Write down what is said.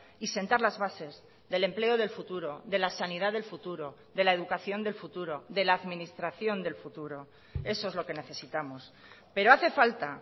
y sentar las bases del empleo del futuro de la sanidad del futuro de la educación del futuro de la administración del futuro eso es lo que necesitamos pero hace falta